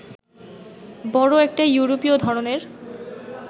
বড় একটা ইউরোপীয় ধরনের